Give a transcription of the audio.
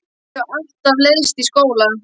Mér hefur alltaf leiðst í skóla.